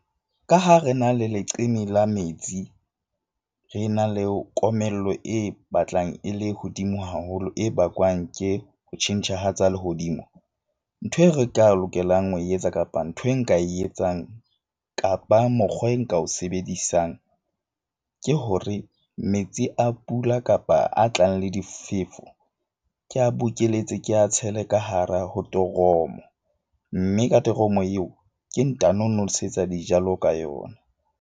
Ka ha re na le leqeme la metsi, re na le komello e batlang e le hodimo haholo, e bakwang ke ho tjhentjha ha tsa lehodimo. Nthwe re tla lokelang ho e etsa kapa ntho e nka e etsang kapa mokgwa e nka o sebedisang, ke hore metsi a pula kapa a tlang le difefo ke a bokeletse ke a tshele ka hara ho toromo. Mme ka toromo eo ke ntano nosetsa dijalo ka yona.